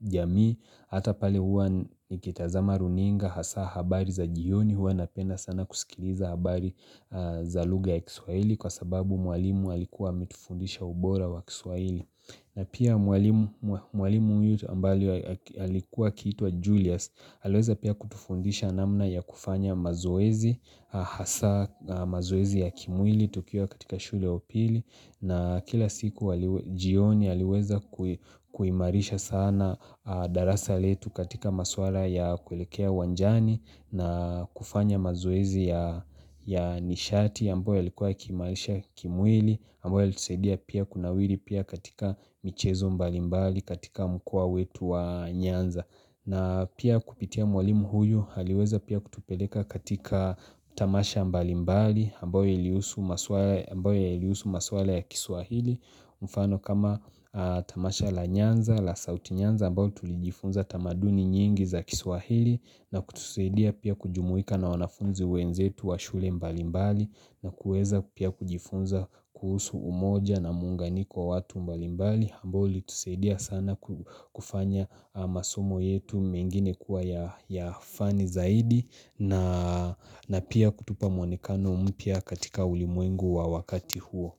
jamii Hata pale huwa nikitazama runinga hasa habari za jioni huwa napenda sana kusikiliza habari za lugha ya kiswahili kwa sababu mwalimu alikuwa ametufundisha ubora wa kiswahili na pia mwalim mwalimu huyu ambaye alikuwa akiitwa Julius aliweza pia kutufundisha namna ya kufanya mazoezi, hasa mazoezi ya kimwili tukiwa katika shule ya upili na kila siku jioni aliweza ku kuimarisha sana darasa letu katika maswala ya kulekea uwanjani na kufanya mazoezi ya nishati ambayo yalikuwa ya kimaisha kimwili, ambayo yalitusadia pia kunawiri pia katika michezo mbalimbali katika mkoa wetu wa Nyanza. Na pia kupitia mwalimu huyu aliweza pia kutupeleka katika tamasha mbalimbali ambayo ilihusu maswala ya kiswahili mfano kama tamasha la nyanza la sauti nyanza ambayo tulijifunza tamaduni nyingi za kiswahili na kutusaidia pia kujumuika na wanafunzi wenzetu wa shule mbalimbali. Na kuweza pia kujifunza kuhusu umoja na muunganiko wa watu mbalimbali ambao ulitusaidia sana kufanya masomo yetu mengine kuwa ya ya fani zaidi na na pia kutupa mwonekano mpya katika ulimwengu wa wakati huo.